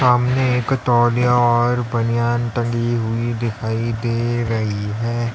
सामने एक तौलिया और बनियान टंगी हुई दिखाई दे रही है।